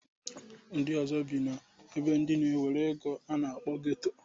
Ndị ọzọ bi n'ebe ndị na-enwero ego a na-akpọ geto.